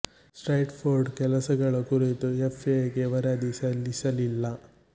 ಸ್ಟ್ರೆಟ್ Ford ಕೆಲಸಗಳ ಕುರಿತು FA ಗೆ ವರದಿ ಸಲ್ಲಿಸಲಿಲ್ಲ